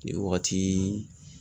Nin wagati